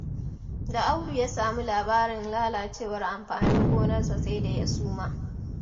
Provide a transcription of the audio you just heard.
Da Audu ya sami labarin lalacewar amfanin gonarsa sai da ya suma.